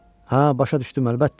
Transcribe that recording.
Hə, başa düşdüm, əlbəttə.